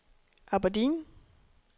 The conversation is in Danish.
Aberdeen